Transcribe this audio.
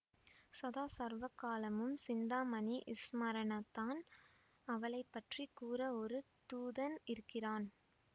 சதா சர்வகாலமும் சிந்தாமணி ஸ்மரணத்தான் அவளைப்பற்றிக் கூற ஒரு தூதன் இருக்கிறான்